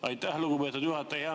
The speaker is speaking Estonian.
Aitäh, lugupeetud juhataja!